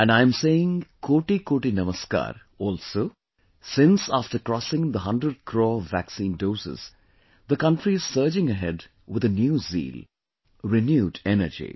And I am saying 'kotikoti namaskar' also since after crossing the 100 crore vaccine doses, the country is surging ahead with a new zeal; renewed energy